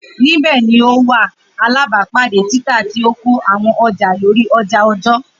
Nibẹ ni o wa alabapade tita ti oko awọn ọja lori oja ọjọ